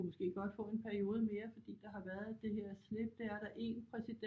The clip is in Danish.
Kunne måske godt få en periode mere fordi der har været det her slip det er der er en præsident